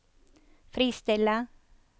fristille